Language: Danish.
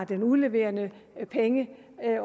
der udleverer pengene